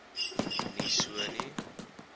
nie so nie